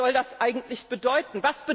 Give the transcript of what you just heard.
Was soll das eigentlich bedeuten?